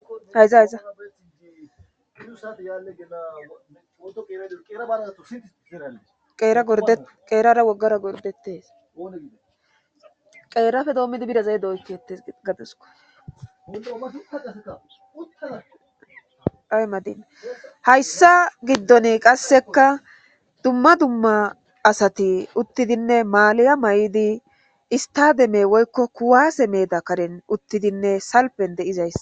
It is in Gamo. Zayzayaeerara wogara gordetes qeerafe doommidi birazay doykkettes gadiskodaymadin hayssa giddon qasseka dumma dumma asati uttidinne maaliya may'idi istademey woykko kuwaase meeda karen uttidinne salpen de'izays.